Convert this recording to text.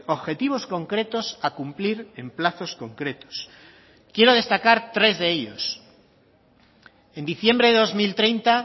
objetivos concretos a cumplir en plazos concretos quiero destacar tres de ellos en diciembre de dos mil treinta